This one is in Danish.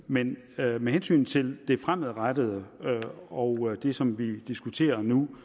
men med hensyn til det fremadrettede og det som vi diskuterer nu